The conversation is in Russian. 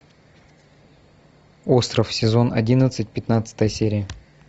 остров сезон одиннадцать пятнадцатая серия